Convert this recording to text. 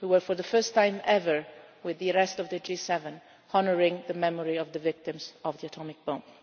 just yesterday. For the first time ever, we and the rest of the G7 honoured the memory of the victims of